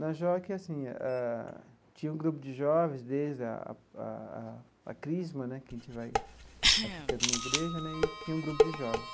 Na JOC, assim ah, tinha um grupo de jovens desde a a a a Crisma né, que a gente vai vai ficando na igreja né, e tinha um grupo de jovens.